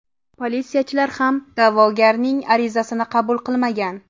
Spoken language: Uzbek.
Politsiyachilar ham da’vogarning arizasini qabul qilmagan.